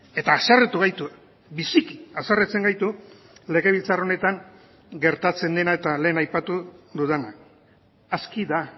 eta haserretu gaitu biziki haserretzen gaitu legebiltzar honetan gertatzen dena eta lehen aipatu dudana aski da